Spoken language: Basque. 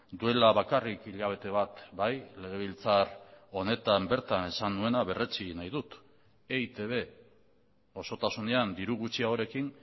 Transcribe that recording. duela bakarrik hilabete bat bai legebiltzar honetan bertan esan nuena berretsi egin nahi dut eitb osotasunean diru gutxiagorekin